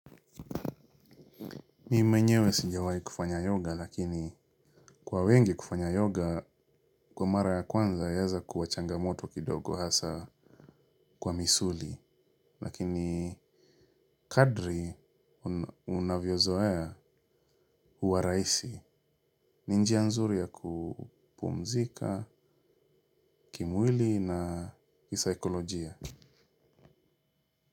Mimi mwenyewe sijawai kufanya yoga lakini kwa wengi kufanya yoga kwa mara ya kwanza yaeza kuwa changamoto kidogo hasa kwa misuli lakini kadri unavyozoyazoea huwa rahisi ni njia nzuri ya kupumzika kimwili na kisaikolojia.